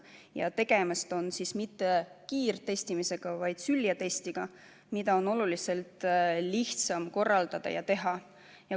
Ja tegemist ei ole mitte kiirtestimistega, vaid süljetestiga, mida on oluliselt lihtsam korraldada ja teha.